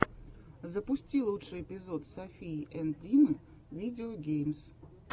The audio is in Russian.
запусти лучший эпизод софии энд димы видео геймс